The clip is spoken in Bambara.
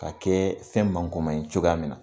K'a kɛ fɛn mankoma ye cogoya min na